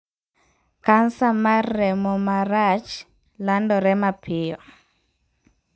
Kansa mar remo marach landore mapiyo.